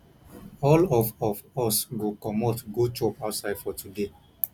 all of of us go comot go chop outside for today